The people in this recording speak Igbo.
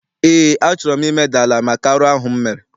Eé, a chọrọ m imeda ala maka arụ ahụ m mere.